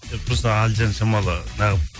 просто әлжан шамалы неағып